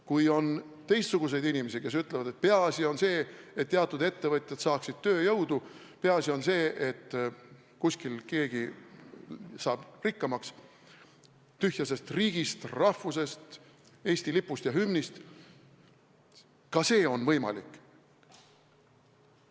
Kui on teistsuguseid inimesi, kelle arvates peaasi on see, et teatud ettevõtjad saaksid tööjõudu, peaasi on see, et kuskil keegi saab rikkamaks, tühja sest riigist, rahvusest, Eesti lipust ja hümnist – ka see on võimalik.